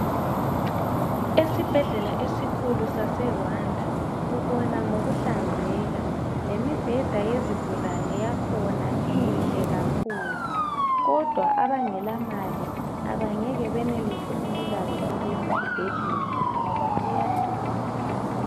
Esibhedlela esikhulu sase"Rwanda" ubona ngokuhlanzeka, lemibheda yezigulane yakhona inhle kakhulu kodwa abangela mali abangeke benelise ukulatshwa kulesi sibhedlela ngoba siyadula.